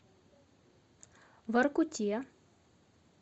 воркуте